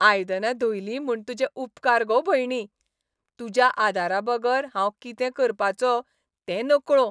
आयदनां धुयलीं म्हूण तुजे उपकार गो भयणी. तुज्या आदाराबगर हांव कितें करपाचो तें नकळो.